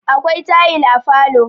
akwai tayil a falo